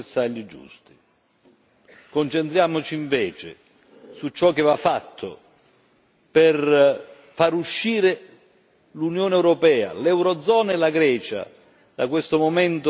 Concentriamoci invece su ciò che va fatto per far uscire l'Unione europea, l'eurozona e la Grecia da questo momento di straordinaria difficoltà.